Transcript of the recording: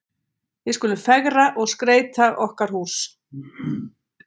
Við skulum fegra og skreyta okkar hús.